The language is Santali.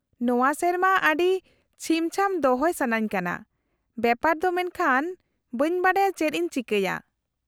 -ᱱᱚᱶᱟ ᱥᱮᱨᱢᱟ ᱟᱹᱰᱤ ᱪᱷᱤᱢ ᱪᱷᱟᱢ ᱫᱚᱦᱚᱭ ᱥᱟᱱᱟᱧ ᱠᱟᱱᱟ ᱵᱮᱯᱟᱨ ᱫᱚ ᱢᱮᱱᱠᱷᱟᱱ ᱵᱟᱹᱧ ᱵᱟᱰᱟᱭᱟ ᱪᱮᱫ ᱤᱧ ᱪᱤᱠᱟᱹᱭᱟ ᱾